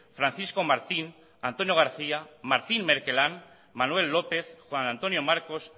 francisco martín antonio garcía martín merquelán manuel lópez juan antonio marcos